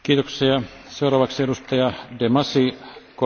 Herr Präsident, meine sehr verehrten Kolleginnen und Kollegen!